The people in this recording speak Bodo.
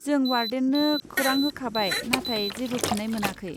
जों वार्डेननो खोरां होखांबाय नाथाय जेबो फिन्नाय मोनाखै।